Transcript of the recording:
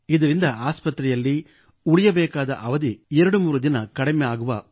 ಇದರಿಂದ ಆಸ್ಪತ್ರೆಯಲ್ಲಿ ಉಳಿಯಬೇಕಾಗುವ ಅವಧಿ 23 ದಿನ ಕಡಿಮೆ ಆಗುವ ಉಪಯೋಗವಿದೆ